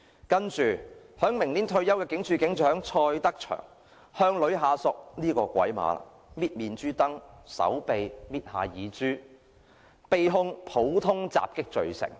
接下來，將於明年退休的警署警長蔡德祥——這個"鬼馬"了——捏女下屬的面頰、手臂、耳珠，被控普通襲擊罪成。